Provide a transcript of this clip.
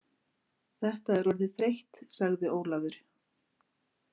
Þetta er orðið þreytt, sagði Ólafur.